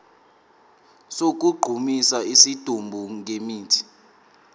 sokugqumisa isidumbu ngemithi